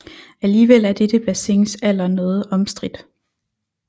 Alligevel er dette bassins alder noget omstridt